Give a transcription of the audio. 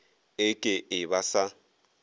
e ke e ba sa